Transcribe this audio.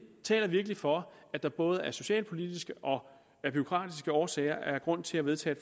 taler virkelig for at der både af socialpolitiske og bureaukratiske årsager er grund til at vedtage